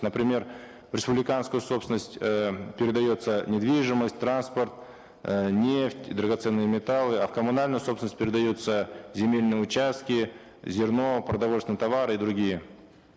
например в республиканскую собственность э передается недвижимость транспорт э нефть драгоценные металлы а в коммунальную собственность передаются земельные участки зерно продовольственные товары и другие